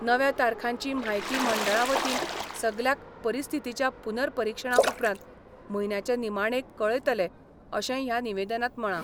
नव्या तारखांची म्हायती मंडळा वतीन सगल्याक परिस्थितीच्या पुर्नपरिक्षणा उपरांत म्हयन्याचे निमाणेक कळयतले अशेंय ह्या निवेदनांत म्हळां.